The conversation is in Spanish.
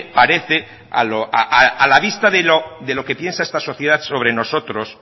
parece a la vista de lo que piensa esta sociedad sobre nosotros